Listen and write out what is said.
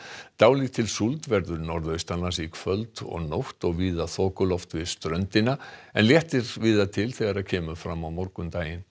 dálítil súld verður norðaustanlands í kvöld og nótt og víða þokuloft við ströndina en léttir víða til þegar kemur fram á morgun